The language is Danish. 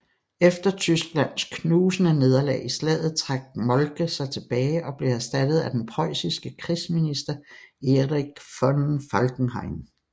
Efter Tysklands knusende nederlag i slaget trak Moltke sig tilbage og blev erstattet af den prøjsiske krigsminister Erich von Falkenhayn